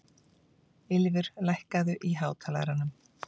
Ylfur, lækkaðu í hátalaranum.